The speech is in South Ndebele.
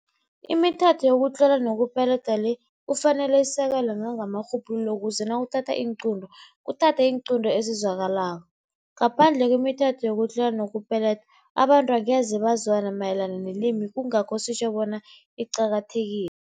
Imithetho yokutlola nokupeledwa le kufanele isekelwe nangamarhubhululo ukuze nakuthathwa iinqunto, kuthathwe iinqunto ezizwakalako. Ngaphandle kwemithetho yokutlola nokupeleda, abantu angeze bazwana mayelana nelimi, kungakho sitjho bona iqakathekile.